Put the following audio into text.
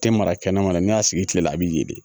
Tɛ mara kɛnɛma kɔni ne y'a sigi kilela a bɛ ye de